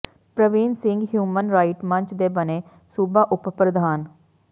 Praveen Singh human right ਮੰਚ ਦੇ ਬਣੇ ਸੂਬਾ ਉਪ ਪ੍ਰਧਾਨ